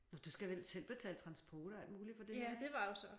Nå du skal vel selv betale transport og alt muligt for det her ik?